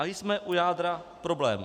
A jsme u jádra problému.